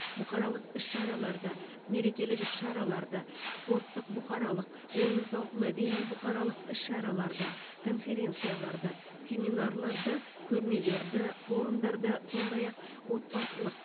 бұқаралық іс шараларды мерекелік іс шараларды спорттық бұқаралық ойын сауық мәдени бұқаралық іс шараларды конференцияларды семинарларды көрмелерді форумдарды сондай ақ отбасылық